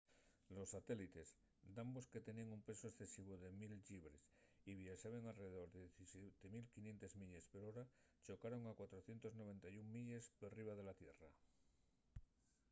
los satélites dambos que teníen un pesu escesivu de 1000 llibres y viaxaben a alredor de 17,500 milles per hora chocaron a 491 milles perriba la tierra